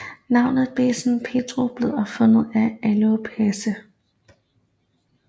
Navnet Bezzen Perrot blev opfundet af Ael Péresse